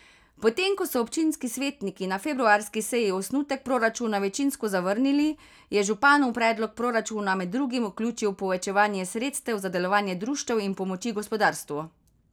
Potem ko so občinski svetniki na februarski seji osnutek proračuna večinsko zavrnili, je župan v predlog proračuna med drugim vključil povečanje sredstev za delovanje društev in pomoči gospodarstvu.